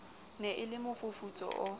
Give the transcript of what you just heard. ne e le mofufutso o